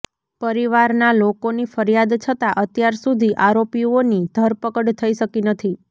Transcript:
પરિવારના લોકોની ફરિયાદ છતા અત્યાર સુધી આરોપીઓની ધરપકડ થઈ શકી નથી